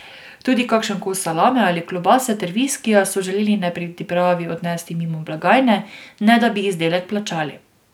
Tudi kakšen kos salame ali klobase ter viskija so želeli nepridipravi odnesti mimo blagajne, ne da bi izdelek plačali.